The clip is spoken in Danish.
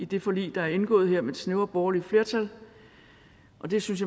det forlig der er indgået her med det snævre borgerlige flertal og det synes